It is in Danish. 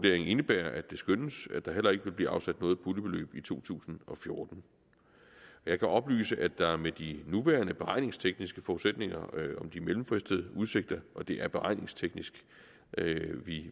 indebærer at det skønnes at der heller ikke vil blive afsat noget puljebeløb i to tusind og fjorten jeg kan oplyse at der med de nuværende beregningstekniske forudsætninger om de mellemfristede udsigter og det er beregningsteknisk